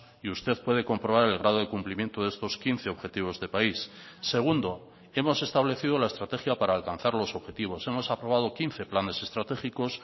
y usted puede comprobar el grado de cumplimiento de estos quince objetivos de país segundo hemos establecido la estrategia para alcanzar los objetivos hemos aprobado quince planes estratégicos